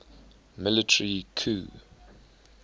military coup